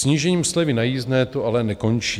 Snížením slevy na jízdné to ale nekončí.